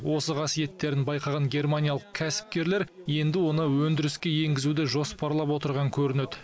осы қасиеттерін байқаған германиялық кәсіпкерлер енді оны өндіріске енгізуді жоспарлап отырған көрінеді